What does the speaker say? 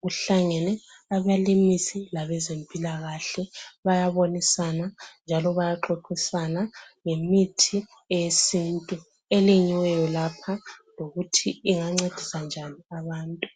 kuhlangene abalimisi labezempilakahle bayabonisana njalo bayaxoxisana ngemithi yesintu elimiweyo lapha lokuthi ingancendisa njani abantu.